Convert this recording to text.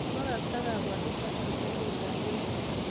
Kobakta Kabwatet ab serikalit ab emet